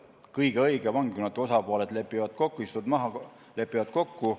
Kõige õigem on, kui osapooled istuvad maha ja lepivad kokku.